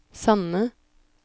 Sande